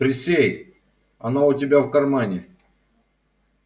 присей она у тебя в кармане